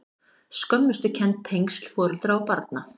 Skömmustukennd- tengsl foreldra og barna